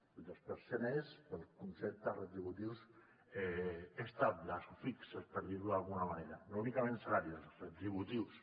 el dos per cent és pels conceptes retributius estables o fixos per dir ho d’alguna manera no únicament salarials retributius